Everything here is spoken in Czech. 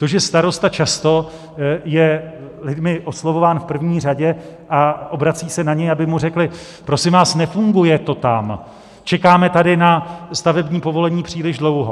To, že starosta často je lidmi oslovován v první řadě a obrací se na něj, aby mu řekli: Prosím vás, nefunguje to tam, čekáme tady na stavební povolení příliš dlouho.